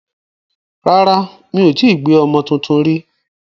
Rárá, mi ò gbé ọmọ tuntun rí.